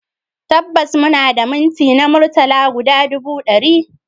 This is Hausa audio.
Tabbas muna da minti na murtala guda ɗubu ɗari